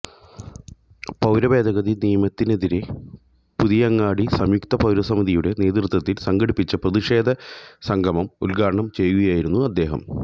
പൌരത്വഭേദഗതി നിയമത്തിനെതിരെ പുതിയങ്ങാടി സംയുക്ത പൌരസമിതിയുടെ നേതൃത്വത്തില് സംഘടിപ്പിച്ച പ്രതിഷേധ സംഗമം ഉദ്ഘാടനം ചെയ്യുകയായിരുന്നു അദ്ദേഹം